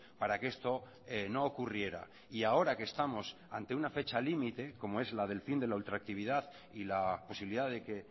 para que esto no ocurriera y ahora que estamos ante una fecha límite como es la del fin de la ultractividad y la posibilidad de que